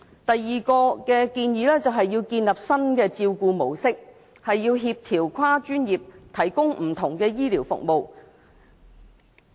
第二項建議是建立新的照顧模式，協調跨專業提供不同的醫療服務。